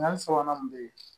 Nka sabanan mun bɛ yen